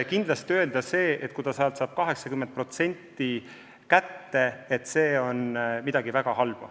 Kindlasti ei saa öelda, et kui pensionär saab teenitust 80% kätte, siis see on midagi väga halba.